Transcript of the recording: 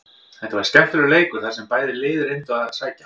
Þetta var skemmtilegur leikur þar sem bæði lið reyndu að sækja.